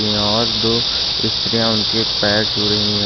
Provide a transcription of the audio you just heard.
यहाँ और दो स्त्रियां उनके पैर छू रही हैं और--